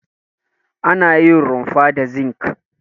Ana yin rumfar da zinki.